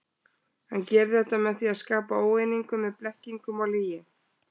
Hann gerir þetta með því að skapa óeiningu með blekkingum og lygi.